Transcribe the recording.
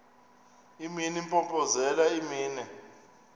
imini impompozelela imini